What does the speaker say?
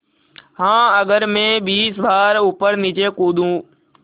हाँ अगर मैं बीस बार ऊपरनीचे कूदूँ